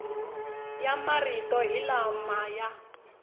ya marito hi lama ya